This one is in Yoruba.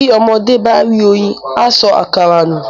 Bí ọmọdé bá rí oyin á sọ àkàrà nù